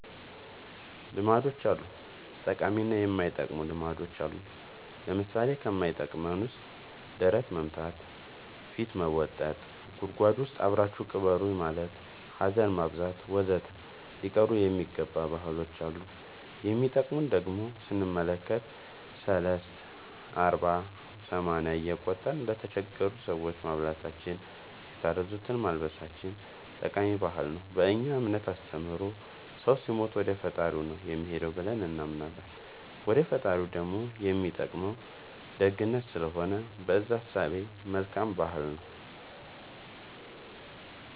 ልማዶች አሉ ጠቃሚ እና የማይጠቅሙ ልማዶች አሉን ለምሳሌ ከማይጠቅመን ውስጥ ደረት መምታ ፊት መቦጠጥ ጉድጎድ ውስጥ አብራችሁኝ ቅበሩኝ ማለት ሀዘን ማብዛት ወዘተ ሊቀሩ የሚገባ ባህሎች አሉ የሚጠቅሙን ደሞ ስንመለከት ሰልስት አርባ ሰማንያ እየቆጠርን ለተቸገሩ ሰዎች ማብላታችን የታረዙትን ማልበሳችን ጠቃሚ ባህል ነው በእኛ እምነት አስተምሮ ሰው ሲሞት ወደፈጣሪው ነው የሚሄደው ብለን እናምናለን ወደ ፈጣሪው ደሞ የሚጠቅመው ደግነት ስለሆነ በእዛ እሳቤ መልካም ባህል ነው